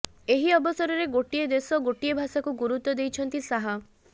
ଏହି ଅବସରରେ ଗୋଟିଏ ଦେଶ ଗୋଟିଏ ଭାଷାକୁ ଗୁରୁତ୍ୱ ଦେଇଛନ୍ତି ଶାହ